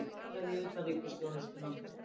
Sparað í utanríkisþjónustu